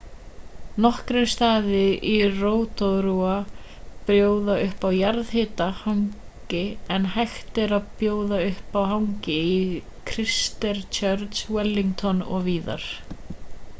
nokkrir staðir í rotorua bjóða upp á jarðhita hangi en hægt er að prófa annað hangi í christchurch wellington og víðar